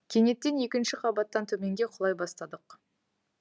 кенеттен екінші қабаттан төменге құлай бастадық